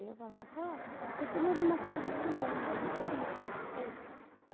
Aí eu falava, ah, eu estou morando na casa de fulano, é ali que eu moro.